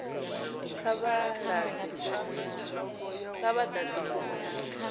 kha vha ḓadze fomo ya